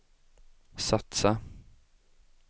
satsa